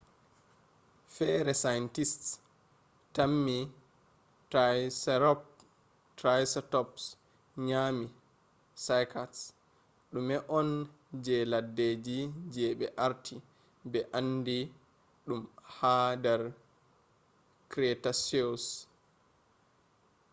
fere scientists tammi triceratops nyami cycads dume on je leddeji je be arti be andi dum ha dar cretaceous